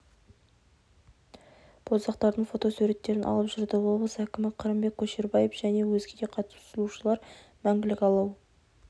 боздақтардың фото суреттерін алып жүрді облыс әкімі қырымбек көшербаев және өзге де қатысушылар мәңгілік алау